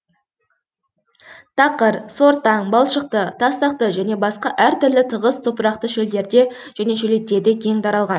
тақыр сортаң балшықты тастақты және басқа әртүрлі тығыз топырақты шөлдерде және шөлейттерде кең таралған